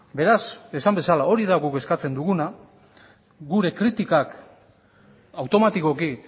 beraz esan bezala hori da guk eskatzen duguna gure kritikak automatikoki